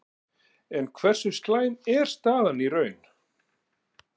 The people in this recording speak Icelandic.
En hversu slæm er staðan í raun?